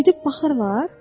Gedib baxırlar?